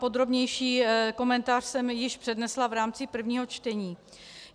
Podrobnější komentář jsem již přednesla v rámci prvního čtení.